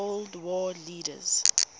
cold war leaders